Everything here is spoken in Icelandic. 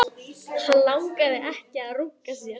Hann langaði ekki að runka sér.